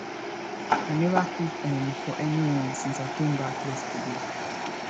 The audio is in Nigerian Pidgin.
i never cook um for anyone since i came back yesterday